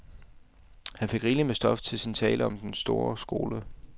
Han fik rigeligt med stof til sin tale om den sorte skole.